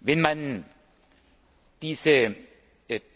Wenn man diese